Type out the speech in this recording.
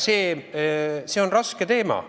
See on raske teema.